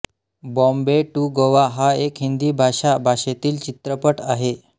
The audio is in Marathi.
बोम्बे टू गोवा हा एक हिंदी भाषा भाषेतील चित्रपट आहे